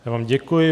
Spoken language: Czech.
Já vám děkuji.